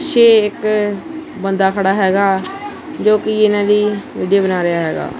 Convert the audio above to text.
ਪਿੱਛੇ ਇਕ ਬੰਦਾ ਖੜਾ ਹੈਗਾ ਜੋ ਕਿ ਇਹਨਾਂ ਦੀ ਵੀਡੀਓ ਬਣਾ ਰਿਹਾ ਹੈਗਾ।